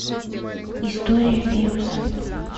история вируса